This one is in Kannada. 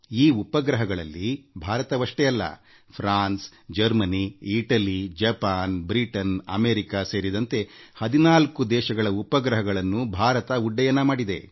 ಈ ಉಪಗ್ರಹಗಳಲ್ಲಿ ಭಾರತವಷ್ಟೇ ಅಲ್ಲ France Germany Italy Japan Britain America ಸೇರಿದಂತೆ 14 ದೇಶಗಳ ಉಪಗ್ರಹಗಳನ್ನು ಭಾರತ ಉಡ್ಡಯನ ಮಾಡಿದೆ